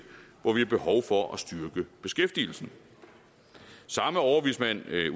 hvor vi har behov for at styrke beskæftigelsen samme overvismand